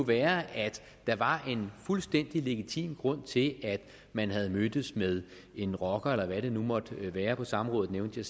være at der var en fuldstændig legitim grund til at man havde mødtes med en rocker eller hvad det nu måtte være på samrådet nævnte